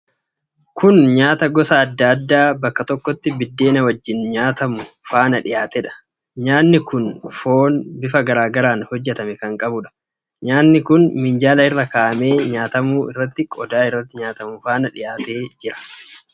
Kun nyaata gosa adda addaa bakka tokkotti biddeena wajjin nyaatamu faana dhiyaatedha. Nyaati kun foon bifa garaa garaan hojjatame kan qabuudha. Nyaati kun minjaala irra kaa'atamee nyaatamu irratti qodaa irratti nyaatamu faana dhiyaatee jira.